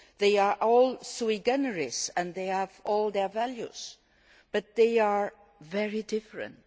They are all sui generis and they have all their values, but they are very different.